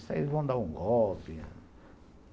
Isso aí vão dar um golpe.